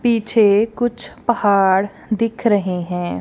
पीछे कुछ पहाड़ दिख रहे हैं।